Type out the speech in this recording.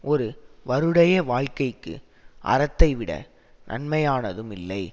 ஒரு வருடைய வாழ்கைக்கு அறத்தை விட நன்மையானதும் இல்லை